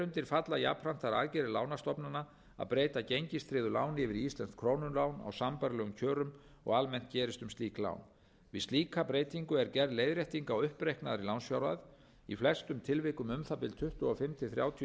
undir falla jafnframt þær aðgerðir lánastofnana að breyta gengistryggðu láni yfir í íslenskt krónulán á sambærilegum kjörum og almennt gerist um slík lán við slíka breytingu er gerð leiðrétting á uppreiknaðri lánsfjárhæð í flestum tilvikum um það bil tuttugu og fimm til þrjátíu